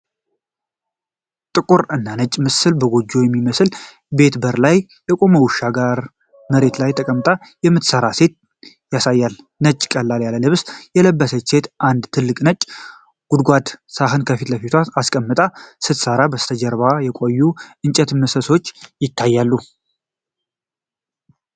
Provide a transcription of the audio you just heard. ጥቁር እና ነጭ ምስል ከጎጆ በሚመስል ቤት በር ላይ የቆመ ውሻ ጋር፣ መሬት ላይ ተቀምጣ የምትሠራ ሴት ያሳያል። ነጭ ቀለል ያለ ልብስ የለበሰችው ሴት አንድ ትልቅ ነጭ ጎድጓዳ ሳህን ከፊት ለፊቷ አስቀምጣ ስትሠራ፣ ከበስተጀርባው የቆዩ የእንጨት ምሰሶዎች ይታያሉ።